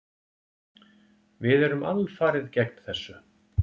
Við erum alfarið gegn þessu.